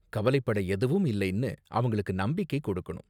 கவலைப்பட எதுவும் இல்லைன்னு அவங்களுக்கு நம்பிக்கை கொடுக்கணும்.